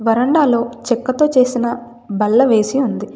వరండాలో చెక్కతో చేసిన బల్ల వేసి ఉంది.